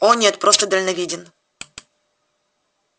о нет просто дальновиден